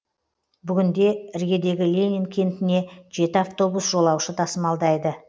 бүгінде іргедегі ленин кентіне жеті автобус жолаушы тасымалдайды